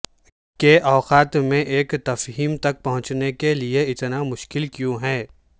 کہ اوقات میں ایک تفہیم تک پہنچنے کے لئے اتنا مشکل کیوں ہے